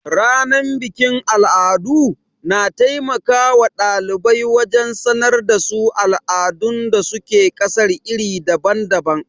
Ranar bikin al'adu, na taimaka wa ɗalibai wajen sanar da su al'adun da su ke ƙasar iri daban-daban.